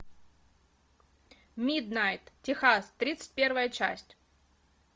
миднайт техас тридцать первая часть